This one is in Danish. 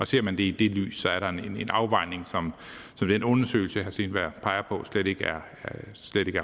ser man det i det lys er der en afvejning som i den undersøgelse herre steenberg peger på slet ikke er